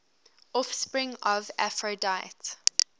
offspring of aphrodite